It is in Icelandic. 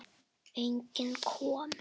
Enginn kom.